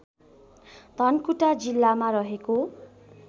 धनकुटा जिल्लामा रहेको